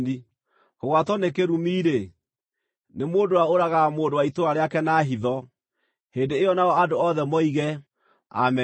“Kũgwatwo nĩ kĩrumi-rĩ, nĩ mũndũ ũrĩa ũragaga mũndũ wa itũũra rĩake na hitho.” Hĩndĩ ĩyo nao andũ othe moige, “Ameni!”